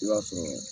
I b'a sɔrɔ